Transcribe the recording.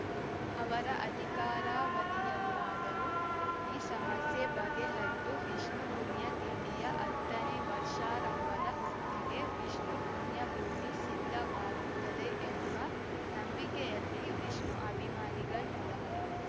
ಅವರ ಅಧಿಕಾರಾವಧಿಯಲ್ಲಾದರೂ ಈ ಸಮಸ್ಯೆ ಬಗೆಹರಿದು ವಿಷ್ಣು ಪುಣ್ಯತಿಥಿಯ ಹತ್ತನೇ ವರ್ಷಾರಂಭದ ಹೊತ್ತಿಗೆ ವಿಷ್ಣು ಪುಣ್ಯಭೂಮಿ ಸಿದ್ಧವಾಗುತ್ತದೆ ಎಂಬ ನಂಬಿಕೆಯಲ್ಲಿ ವಿಷ್ಣು ಅಭಿಮಾನಿಗಳಿದ್ದಾರೆ